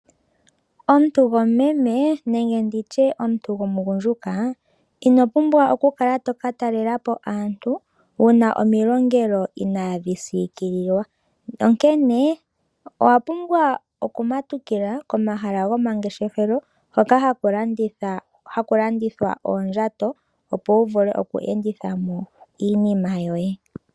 Omuntu gomumeme nenge nditye omuntu gomugundjuka ino pumbwa wu kale toka talela po aantu wu na omilongelelo inaadhi siikililwa, onkene owa pumbwa okumatukila komahala gomangeshefelo hoka haku landithwa oondjato, opo wu vule oku enditha mo iinima yoye.